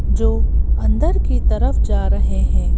जो अंदर की तरफ जा रहे हैं।